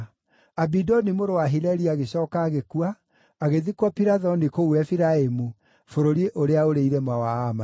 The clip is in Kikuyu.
Abidoni mũrũ wa Hileli agĩcooka agĩkua, agĩthikwo Pirathoni kũu Efiraimu, bũrũri ũrĩa ũrĩ irĩma wa Aamaleki.